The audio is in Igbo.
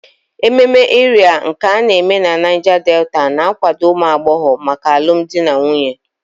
Ememe Ịrịa nke a na-eme na Niger Delta na-akwado ụmụ agbọghọ maka alụmdi na nwunye